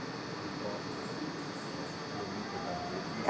Eram próximos? Eh, ia muito na casa dele? Como é que